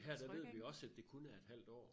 Her der ved vi også at det kun er et halvt år